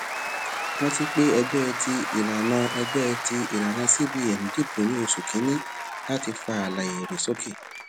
rántí pé ẹgbẹ ti ìlànà ẹgbẹ ti ìlànà cbn dibò ní oṣù kínní láti fa àlà èrè sókè